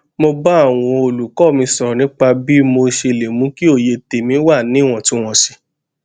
mo bá àwọn olùkọ mi sọrọ nípa bí mo ṣe lè mú kí òye tèmí wà níwòntúnwònsì